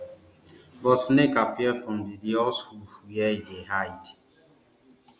but snake appear from di di horse hoof wia e dey hide